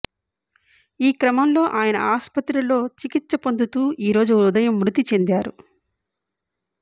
ఈ క్రమంలో ఆయన ఆస్పత్రిలో చికిత్స పొందుతూ ఈ రోజు ఉదయం మృతి చెందారు